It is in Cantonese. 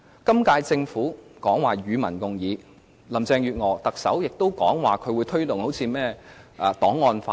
今屆政府說要與民共議，特首林鄭月娥也表示會推動檔案法。